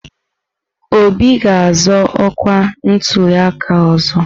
Obi ga-azọ ọkwa na ntuliaka ọzọ?